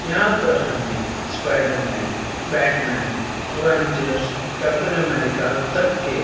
यहां पर हमें Spider Man Batman Avengers Captain America तक के--